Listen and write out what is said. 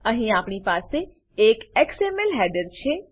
અહીં આપણી પાસે એક એક્સએમએલ હેડર છે